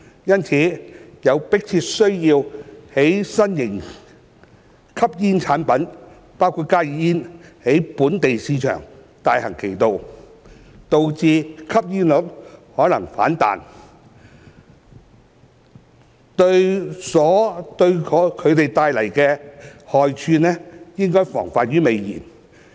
因此，有迫切需要在新型吸煙產品在本地市場大行其道，導致吸煙率可能反彈前，對其所帶來的害處防患於未然。